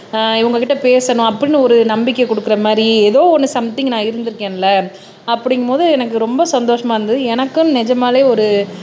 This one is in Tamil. இவங்ககிட்ட பேசணும் அப்படின்னு ஒரு நம்பிக்கை கொடுக்குற மாதிரி ஏதோ ஒண்ணு சம்திங் நான் இருந்து இருக்கேன்ல அப்படிங்கும் போது எனக்கு ரொம்ப சந்தோஷமா இருந்தது எனக்கும் நிஜமலே ஒரு